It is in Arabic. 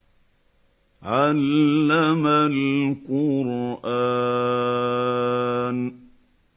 عَلَّمَ الْقُرْآنَ